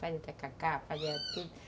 Fazia tacacá, fazia